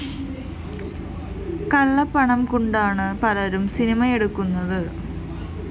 കള്ളപ്പണം കൊണ്ടാണ് പലരും സിനിമയെടുക്കുന്നത്